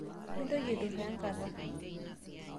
mintoki aituraa enkata